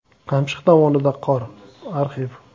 Qamchiq dovonida qor (arxiv).